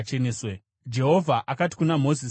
Jehovha akati kuna Mozisi naAroni,